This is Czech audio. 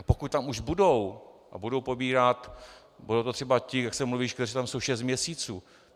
A pokud tam už budou a budou pobírat, budou to třeba ti, jak se mluví, kteří tam jsou šest měsíců?